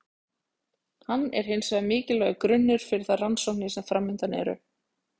Hann er hins vegar mikilvægur grunnur fyrir þær rannsóknir sem framundan eru.